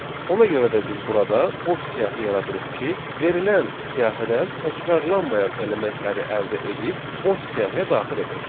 Ona görə də biz burada boş siyahı yaradırıq ki, verilən siyahıdan təkrarlanmayan elementləri əldə edib boş siyahiyə daxil edək.